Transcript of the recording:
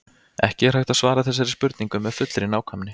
Ekki er hægt að svara þessari spurningu með fullri nákvæmni.